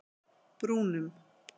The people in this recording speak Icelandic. Brúnum